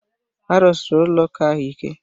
A rụsiri ụlọ ụka ahụ ike